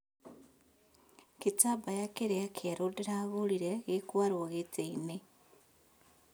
Gĩtambaya kĩrĩa kĩerũndĩragũrire gĩkũarwo gĩtĩinĩ